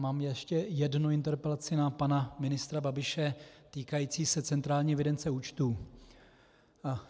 Mám ještě jednu interpelaci na pana ministra Babiše týkající se centrální evidence účtů.